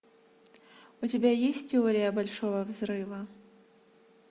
у тебя есть теория большого взрыва